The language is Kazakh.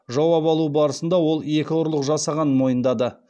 жауап алу барысында ол екі ұрлық жасағанын мойындады